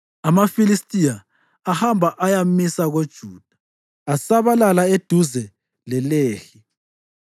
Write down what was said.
AmaFilistiya ahamba ayamisa koJuda, asabalala eduze leLehi.